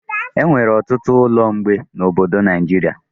Enwere ọtụtụ ụlọ mgbe na obodo Naijiria